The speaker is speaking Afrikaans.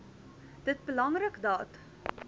dit belangrik dat